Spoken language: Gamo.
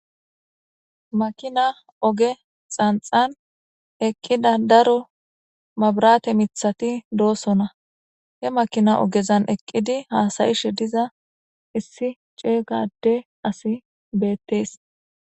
Makina oge xanixani eqida daro mabirate mithati dosona , he makina ogezani eqid hasa'ishe diza issi ceega Ade asay beetesi.